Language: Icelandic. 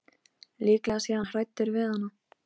Líklega sé hann hræddur við hana.